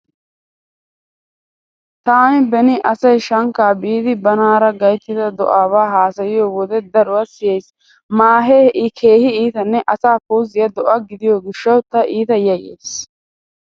Taani beni asay shankkaa biidi banaara gayttida do'abaa haasayiyo wode daruwa siyays. Maahee keehi itanne asaa puuzziya do'a gidiyo gishshawu ta iita yayyays.